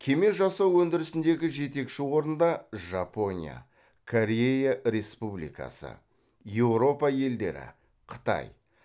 кеме жасау өндірісіндегі жетекші орында жапония корея республикасы еуропа елдері қытай